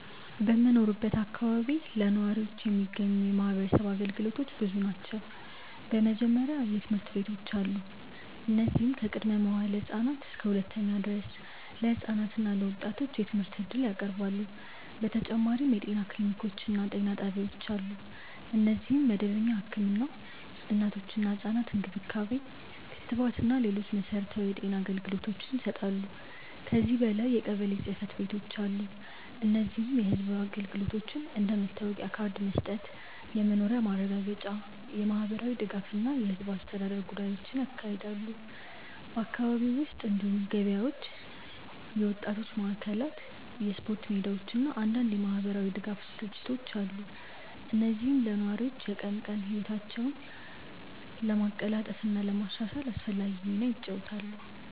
በምኖርበት አካባቢ ለነዋሪዎች የሚገኙ የማህበረሰብ አገልግሎቶች ብዙ ናቸው። በመጀመሪያ ትምህርት ቤቶች አሉ፣ እነዚህም ከቅድመ-መዋዕለ ህፃናት እስከ ሁለተኛ ደረጃ ድረስ ለህፃናት እና ለወጣቶች የትምህርት እድል ያቀርባሉ። በተጨማሪም የጤና ክሊኒኮች እና ጤና ጣቢያዎች አሉ፣ እነዚህም መደበኛ ህክምና፣ እናቶችና ህፃናት እንክብካቤ፣ ክትባት እና ሌሎች መሠረታዊ የጤና አገልግሎቶችን ይሰጣሉ። ከዚህ በላይ የቀበሌ ጽ/ቤቶች አሉ፣ እነዚህም የህዝብ አገልግሎቶችን እንደ መታወቂያ ካርድ መስጠት፣ የመኖሪያ ማረጋገጫ፣ የማህበራዊ ድጋፍ እና የህዝብ አስተዳደር ጉዳዮችን ያካሂዳሉ። በአካባቢው ውስጥ እንዲሁም ገበያዎች፣ የወጣቶች ማዕከላት፣ የስፖርት ሜዳዎች እና አንዳንድ የማህበራዊ ድጋፍ ድርጅቶች አሉ፣ እነዚህም ለነዋሪዎች የቀን ቀን ህይወታቸውን ለማቀላጠፍ እና ለማሻሻል አስፈላጊ ሚና ይጫወታሉ።